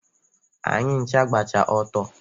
Anyị ncha gbacha ọtọ.